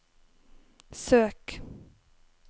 søk